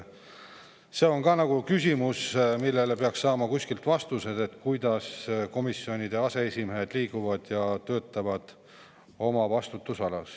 Küsimus on ka see, millele peaks kuskilt saama vastused: kuidas komisjonide aseesimehed liiguvad ja oma vastutusalas töötavad.